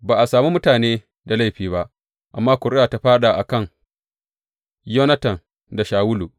Ba a sami mutane da laifi ba, amma ƙuri’a ta fāɗa a kan Yonatan da Shawulu.